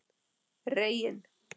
Reginn